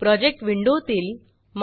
project विंडोतील